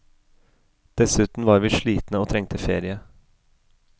Dessuten var vi slitne og trengte ferie.